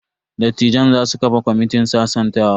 Dattijan za su kafa kwamitin sasantawa.